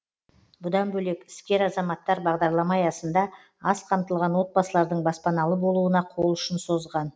бұдан бөлек іскер азаматтар бағдарлама аясында аз қамтылған отбасылардың баспаналы болуына қол ұшын созған